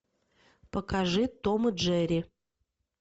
покажи том и джерри